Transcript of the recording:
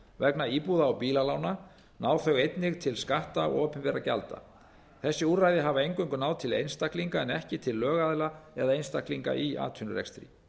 vegna íbúða og bílalána ná þau einnig til skatta og opinberra gjalda þessi úrræði hafa eingöngu náð til einstaklinga en ekki til lögaðila eða einstaklinga í atvinnurekstri